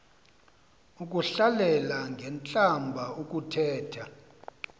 ukuhlalela ngentlamba ukuthetha